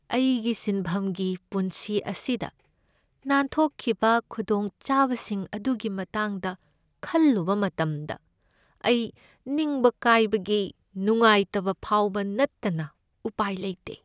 ꯑꯩꯒꯤ ꯁꯤꯟꯐꯝꯒꯤ ꯄꯨꯟꯁꯤ ꯑꯁꯤꯗ ꯅꯥꯟꯊꯣꯛꯈꯤꯕ ꯈꯨꯗꯣꯡꯆꯥꯕꯁꯤꯡ ꯑꯗꯨꯒꯤ ꯃꯇꯥꯡꯗ ꯈꯜꯂꯨꯕ ꯃꯇꯝꯗ ꯑꯩ ꯅꯤꯡꯕ ꯀꯥꯏꯕꯒꯤ ꯅꯨꯡꯉꯥꯏꯇꯕ ꯐꯥꯎꯕ ꯅꯠꯇꯅ ꯎꯄꯥꯏ ꯂꯩꯇꯦ ꯫